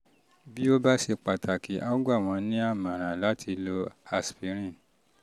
bí ó bá ṣe pàtàkì a ó gbà wọ́n nímọ̀ràn láti lo aspirin